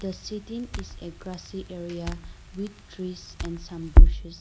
The sitting is a grassy area with trees and some bushes.